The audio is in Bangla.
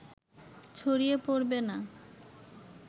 ছড়িয়ে পড়বে না